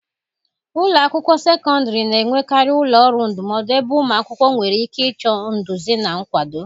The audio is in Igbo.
Ụlọ akwụkwọ sekọndịrị na-enwekarị ụlọ ọrụ ndụmọdụ ebe ụmụ akwụkwọ nwere ike ịchọ nduzi na nkwado